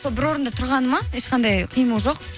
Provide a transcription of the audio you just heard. сол бір орында тұрғаны ма ешқандай қимыл жоқ